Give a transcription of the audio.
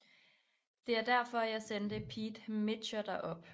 Det er derfor jeg sendte Pete Mitscher derop